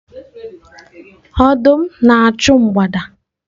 Ọdụm na-achụ mgbada